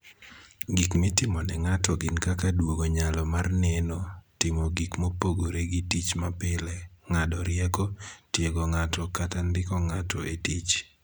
Gik mitimo ne ng'ato gin kaka duogo nyalo mar neno, timo gik mopogore gi tich mapile, ng'ado rieko, tiego ng'ato kata ndiko ng'ato e tich.